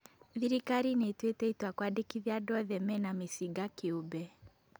Thirikari nĩĩtuĩte itua kwandĩkithia andũ othe mena mĩcinga kĩũmbe